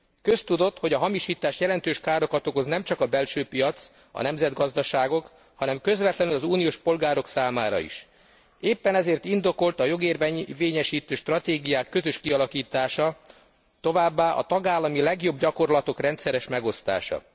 Köztudott, hogy a hamisítás jelentős károkat okoz nemcsak a belső piac, a nemzetgazdaságok, hanem közvetlenül az uniós polgárok számára is. Éppen ezért indokolt a jogérvényesítő stratégiák közös kialakítása, továbbá a tagállami legjobb gyakorlatok rendszeres megosztása.